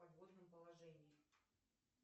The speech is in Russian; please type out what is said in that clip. в подводном положении